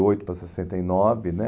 oito para sessenta e nove né